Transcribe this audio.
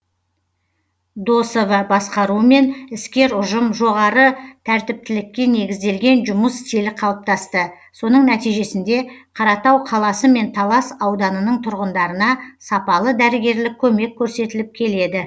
досова басқаруымен іскер ұжым жоғары тәртіптілікке негізделген жұмыс стилі қалыптасты соның нәтижесінде қаратау қаласы мен талас ауданының тұрғындарына сапалы дәрігерлік көмек көрсетіліп келеді